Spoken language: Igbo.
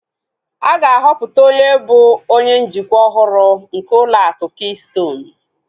A ga-ahọpụta onye bụ onye njikwa ọhụrụ nke ụlọ akụ kistonu